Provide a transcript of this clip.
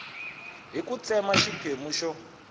hi ku tsema xiphemu xo